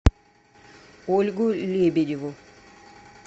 ольгу лебедеву